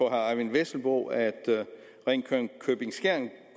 eyvind vesselbo at ringkøbing skjern